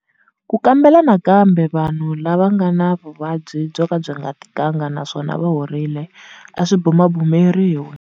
Ku kambela nakambe vanhu lava va nga va na vuvabyi byoka byi nga tikanga naswona va horile a swi bumabumeriwi.